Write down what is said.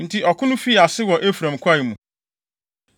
Enti ɔko no fii ase wɔ Efraim kwae mu.